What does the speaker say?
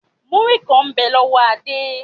Múrí kàn ń bẹ lọ́wọ́ Adé.